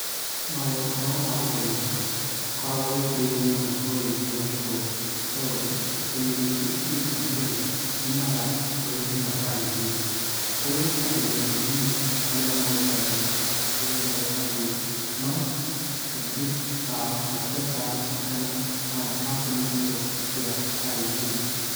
Maũhoro wa gũteng'era ndũkoragwo wĩkĩrĩirwo mũno rũrĩrĩ-inĩ rwa Gĩkũyũ, nĩ tondũ ateng'eri aingĩ bũrũri-inĩ wa Kenya, maumaga rũrĩrĩ-inĩ rwa Kalenjin. Kũrĩ ateng'eri anini arĩa moĩkaine, ta ũngĩ wetagwo Wanjirũ, no aingĩ ao matihotaga gũcindana na a kuma icigo cia Kalenjin.